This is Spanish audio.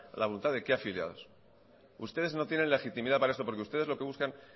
la voluntad de qué afiliados ustedes no tienen legitimidad para esto porque ustedes lo que buscan